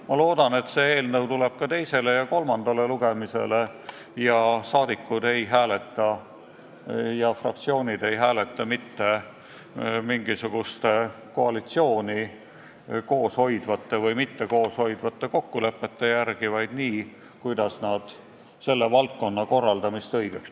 Ma loodan, et see eelnõu tuleb ka teisele ja kolmandale lugemisele ning rahvasaadikud ja fraktsioonid ei hääleta mitte mingisuguste koalitsiooni koos hoidvate või mitte koos hoidvate kokkulepete järgi, vaid nii, kuidas nad selle valdkonna korraldamist õigeks peavad.